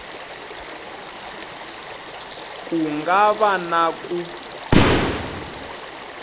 ku nga va na ku